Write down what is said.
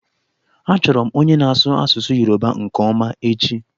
Achọrọ m onye na-asụ asụsụ Yoruba nke ọma echi.